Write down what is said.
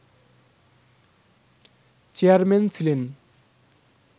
chairman ছিলেন